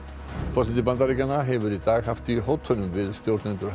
forseti Bandaríkjanna hefur í dag haft í hótunum við stjórnendur